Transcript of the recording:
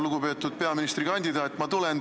Lugupeetud peaministrikandidaat!